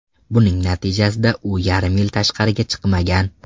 Buning natijasida u yarim yil tashqariga chiqmagan.